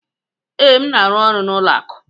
Ee, m na-arụ ọrụ n'ụlọ akụ.